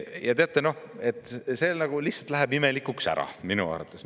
Ja teate, see lihtsalt läheb imelikuks ära, minu arvates.